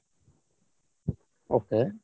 okay